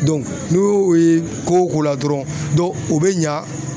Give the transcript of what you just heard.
n'o y'o ye ko o la dɔrɔn dɔnku Ŋo be ɲa